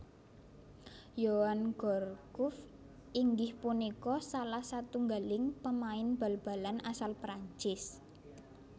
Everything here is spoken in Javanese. Yoann Gourcuff inggih punika salah satunggaling pemain Bal balan asal Perancis